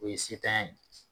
O ye setanya ye.